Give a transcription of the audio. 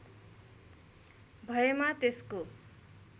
भएमा त्यसको